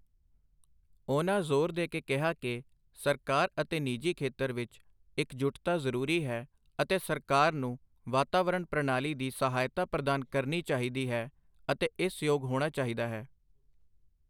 ਉਹਨਾਂ ਜੋ਼ਰ ਦੇ ਕੇ ਕਿਹਾ ਕੀ ਸਰਕਾਰ ਅਤੇ ਨਿਜੀ ਖੇਤਰ ਵਿੱਚ ਇੱਕਜੁਟਤਾ ਜ਼ਰੂਰੀ ਹੈ ਅਤੇ ਸਰਕਾਰ ਨੂੰ ਵਾਤਾਵਰਣ ਪ੍ਰਣਾਲੀ ਦੀ ਸਹਾਇਤਾ ਪ੍ਰਦਾਨ ਕਰਨੀ ਚਾਹੀਦੀ ਹੈ ਅਤੇ ਇਸ ਯੋਗ ਹੋਣਾ ਚਾਹੀਦਾ ਹੈ।